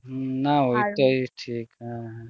না ঠিক হ্যাঁ হ্যাঁ